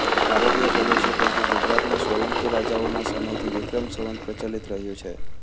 ભારતીય પ્રદેશો પૈકી ગુજરાતમાં સોલંકી રાજાઓના સમયથી વિક્રમ સંવત પ્રચલીત રહ્યું છે